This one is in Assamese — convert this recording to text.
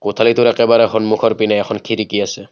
কোঠালিটোৰ একেবাৰে সন্মুখৰ পিনে এখন খিৰিকী আছে।